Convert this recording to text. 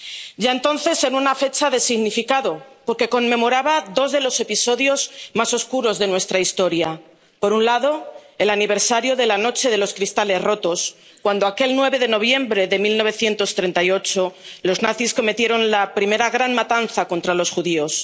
ya entonces en una fecha de significado, porque conmemoraba dos de los episodios más oscuros de nuestra historia por un lado, el aniversario de la Noche de los Cristales Rotos cuando, aquel 9 de noviembre de 1938, los nazis cometieron la primera gran matanza contra los judíos